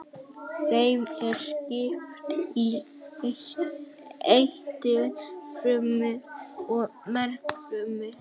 Þeim er skipt í eitilfrumur og mergfrumur.